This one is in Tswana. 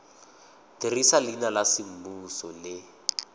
dirisa leina la semmuso le